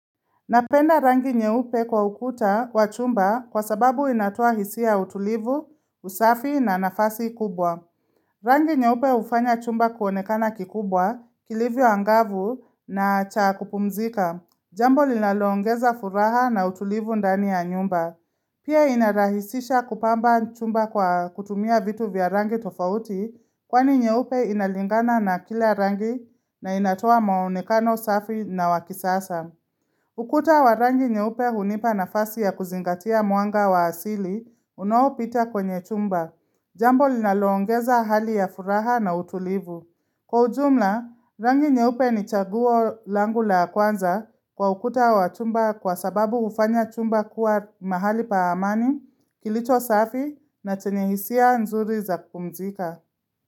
Napenda rangi nyeupe kwa ukuta kwa chumba kwa sababu inatoa hisia utulivu, usafi na nafasi kubwa. Rangi nyeupe hufanya chumba kuonekana kikubwa kilivyo angavu na cha kupumzika. Jambo linalongeza furaha na utulivu ndani ya nyumba. Pia inarahisisha kupamba chumba kwa kutumia vitu vya rangi tofauti kwani nyeupe inalingana na kila rangi na inatoa maonekana safi na wakisasa. Ukuta wa rangi nyeupe hunipa na asi ya kuzingatia muanga wa asili, unaopita kwenye chumba. Jambo linaloongeza hali ya furaha na utulivu. Kwa ujumla, rangi nyeupe ni chaguo langu la kwanza kwa ukuta wa chumba kwa sababu ufanya chumba kuwa mahali pa amani, kilicho safi na chenye hisia nzuri za kupumzika.